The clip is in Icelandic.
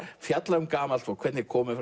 fjalla um gamalt fólk hvernig komið